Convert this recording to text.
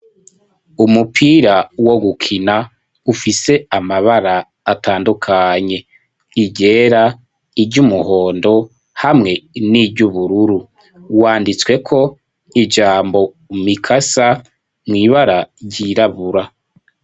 Umupira wo gukina ufise amabara atandukanye iryera, iry'umuhondo hamwe n'iry'ubururu, wanditswe ko ijambo mikasa mw'ibara ryirabura.